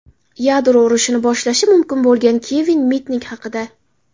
Yadro urushini boshlashi mumkin bo‘lgan Kevin Mitnik haqida.